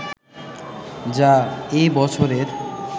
যা এ বছরের